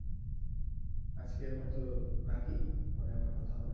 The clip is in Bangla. আজকের মতো রাখি পরে আবার কথা হবে